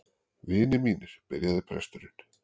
Vinir mínir, byrjaði presturinn.